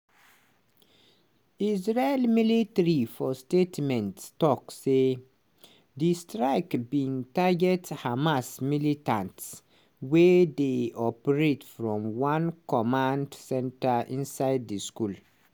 israeli military for statement tok say di strike bin target hamas militants wey dey operate from one command centre inside di school.